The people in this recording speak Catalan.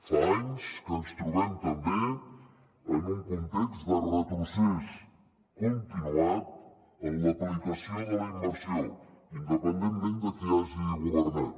fa anys que ens trobem també en un context de retrocés continuat en l’aplicació de la immersió independentment de qui hagi governat